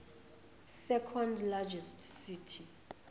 second largest city